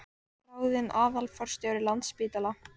Ráðinn aðstoðarforstjóri Landspítala